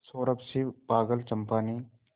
उस सौरभ से पागल चंपा ने